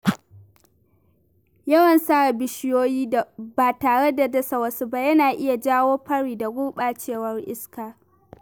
Yawan sare bishiyoyi ba tare da dasa wasu ba yana iya jawo fari da gurɓacewar iska.